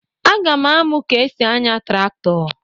Aga m amụ ka e si anya traktọ.